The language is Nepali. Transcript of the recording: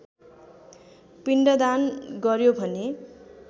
पिण्डदान गर्‍यो भने